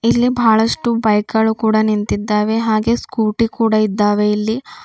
ಇಲ್ಲಿ ಬಹಳಷ್ಟು ಬೈಕ್ ಗಳು ಕೂಡ ನಿಂತಿದ್ದಾವೆ ಹಾಗೆ ಸ್ಕೂಟಿ ಕೂಡ ಇದ್ದಾವೆ ಇಲ್ಲಿ.